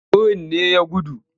Birin ne ya gudu?